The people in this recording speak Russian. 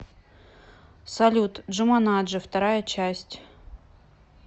салют джуманаджи вторая часть